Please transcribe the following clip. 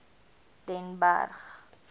den berg